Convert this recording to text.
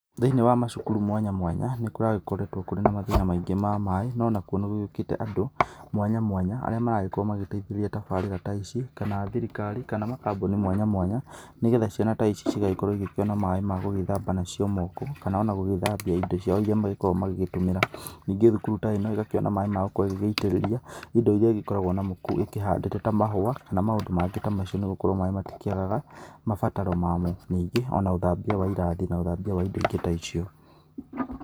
Thĩinĩ wa macukuru mwanya mwanya nĩ kũragĩkoretwo kũrĩ na mathina mwanya mwanya ma maĩ no nakũo nĩ gũkĩte andũ mwanya mwanya arĩa marakorwo magĩteithĩrĩria tabarĩra ta ici kana thirikari kana makambuni mwaya mwanya nĩgetha ciana ta ici cigagĩkorwo igĩkĩona maĩ ma gũgĩthamaba namo moko kana ona gũgĩthambia indo cia iria magĩkoragwo magĩgĩtũmĩra, ningĩ cukuru ta ĩno ĩgakĩona maĩ magũkorwo ĩgĩgĩitĩrĩria indo iria ĩgĩkoragwo namo ĩkĩhandĩtwo ta mahũa kana maũndũ mangĩ ta macio nĩ gũkorwo maĩ matikĩagaga mabataro mamo, ningĩ ona ũthambia wa irathi na ũthambia wa indo ingĩ ta icio.